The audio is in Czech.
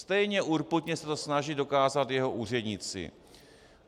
Stejně urputně se to snaží dokázat jeho úředníci.